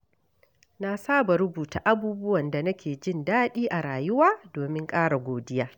Na saba rubuta abubuwan da nake jin daɗi a rayuwa domin ƙara godiya.